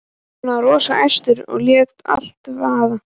Hann var rosa æstur og lét allt vaða.